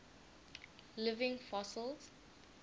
living fossils